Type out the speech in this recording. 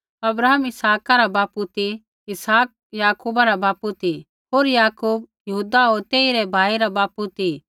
अब्राहम इसहाका रा बापू ती इसहाक याकूबा रा बापू ती होर याकूब यहूदा होर तेइरै भाई रा बापू ती